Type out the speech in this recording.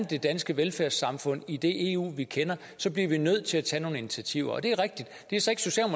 det danske velfærdssamfund i det eu vi kender bliver vi nødt til at tage nogle initiativer det er rigtigt